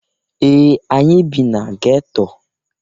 Ee! Anyị bị na geto.